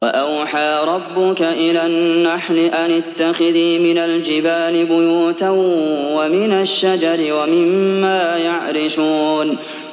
وَأَوْحَىٰ رَبُّكَ إِلَى النَّحْلِ أَنِ اتَّخِذِي مِنَ الْجِبَالِ بُيُوتًا وَمِنَ الشَّجَرِ وَمِمَّا يَعْرِشُونَ